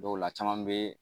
Dɔw la caman bɛ